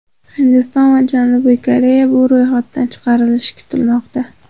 Hindiston va Janubiy Koreya bu ro‘yxatdan chiqarilishi kutilmoqda.